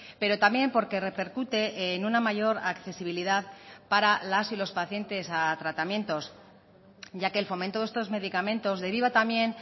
pero también porque repercute en una mayor accesibilidad para las y los pacientes a tratamientos ya que el fomento de estos medicamentos deriva también